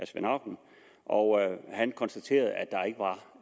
svend auken og han konstaterede